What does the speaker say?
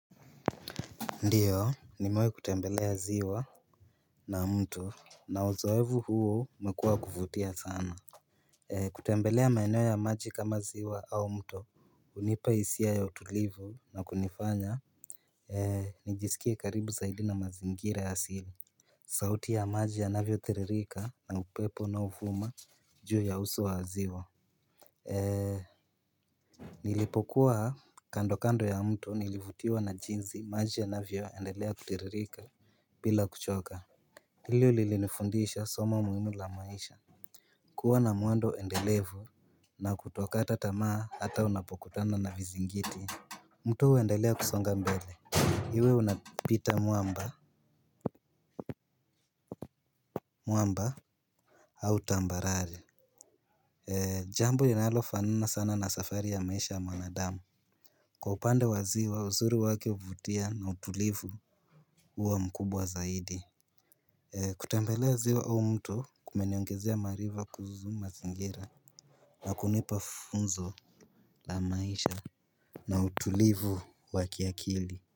Ndiyo nimewahi kutembelea ziwa na mto na uzoevu huo umekua kuvutia sana. Kutembelea maeneo ya maji kama ziwa au mto hunipa isia ya utulivu na kunifanya najisikia karibu zaidi na mazingira asili. Sauti ya maji yanavyo thiririka na upepo unao vuma juu ya uso wa ziwa. Nilipokuwa kando kando ya mto nilivutiwa na jinsi maji yanavyo endelea kutiririka. Bila kuchoka hili lili nifundisha somo muhimu la maisha. Kuwa na mwando endelevu na kutokata tamaa hata unapokutana na vizingiti. Mtu huendelea kusonga mbele iwe unapita mwamba mwamba au tambarari. Jambo linalo fanana sana na safari ya maisha ya mwanadamu. Kwa upande wa ziwa uzuri wake huvutia na utulivu uwa mkubwa zaidi. Kutembelea ziwa au mto kumeniongezea marifa kuhusu mazingira. Nakunipa funzo la maisha. Na utulivu wa kiakili.